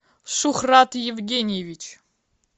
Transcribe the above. шухрат евгеньевич